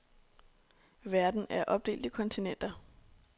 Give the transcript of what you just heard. Verden er opdelt i kontinenter.